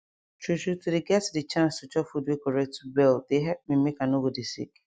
true true to dey get de chance to chop food wey correct well dey help me make i nor go dey sick